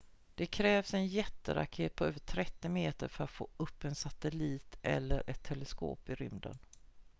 det krävs en jätteraket på över 30 meter för att få upp en satellit eller ett teleskop i rymden